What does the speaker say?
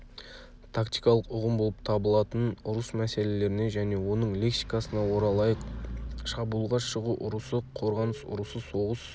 тактикалық ұғым болып табылатын ұрыс мәселелеріне және оның лексикасына оралайық шабуылға шығу ұрысы қорғаныс ұрысы соғыс